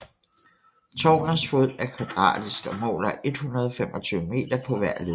Tårnets fod er kvadratisk og måler 125 meter på hver led